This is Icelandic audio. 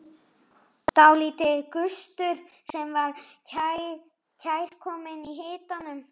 Dálítill gustur sem var kærkominn í hitanum.